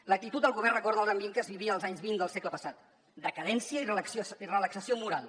l’actitud del govern recorda l’ambient que es vivia als anys vint del segle passat decadència i relaxació moral